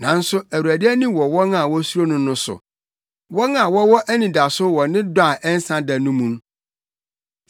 Nanso Awurade ani wɔ wɔn a wosuro no no so, wɔn a wɔwɔ anidaso wɔ ne dɔ a ɛnsa da no mu,